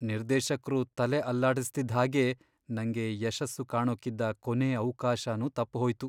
ನಿರ್ದೇಶಕ್ರು ತಲೆ ಅಲ್ಲಾಡಿಸ್ತಿದ್ಹಾಗೇ ನಂಗೆ ಯಶಸ್ಸು ಕಾಣೋಕಿದ್ದ ಕೊನೇ ಅವ್ಕಾಶನೂ ತಪ್ಪ್ಹೋಯ್ತು.